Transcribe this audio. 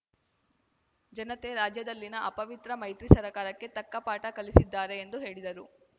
ಜನತೆ ರಾಜ್ಯದಲ್ಲಿನ ಅಪವಿತ್ರ ಮೈತ್ರಿ ಸರಕಾರಕ್ಕೆ ತಕ್ಕ ಪಾಠ ಕಲಿಸಲಿದ್ದಾರೆ ಎಂದು ಹೇಳಿದರು